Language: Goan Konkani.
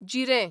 जिरें